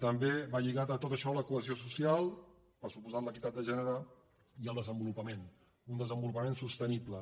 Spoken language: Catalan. també va lligat a tot això la cohesió social per descomptat l’equitat de gènere i el desenvolupament un desenvolupament sostenible